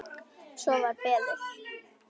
Svo var beðið.